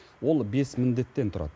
ол бес міндеттен тұрады